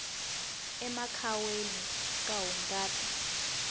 emakhwayeni ka hungata